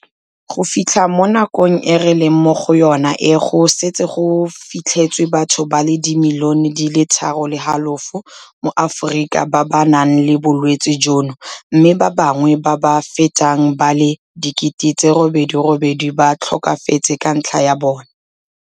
Go fitlha mo nakong e re leng mo go yona e go setse go fitlhetswe batho ba le dimilione di le tharo le halofo mo Aforika ba ba nang le bolwetse jono mme ba bangwe ba ba fetang ba le 88 000 ba tlhokafetse ka ntlha ya bone.